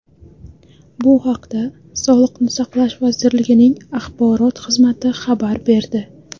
Bu haqda Sog‘liqni saqlash vazirligining axborot xizmati xabar berdi .